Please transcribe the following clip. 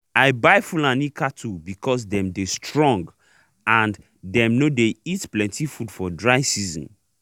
i buy fulani cattle because dem dey strong and dem nor dey eat plenty food for dry season